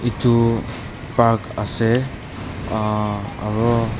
edu park ase uah aro.